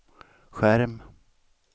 skärm